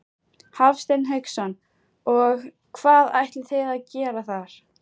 Hafsteinn Hauksson: Og hvað ætlið þið að gera þar?